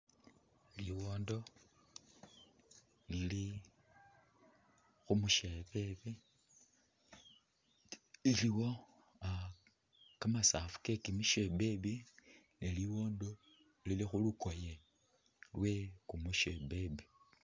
Liwondo lili khumushebebe ilowo kamasaafu ke kyimisyebebe ni liwondo lili khulukoye lwe kumushebebe.